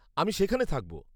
।আমি সেখানে থাকব।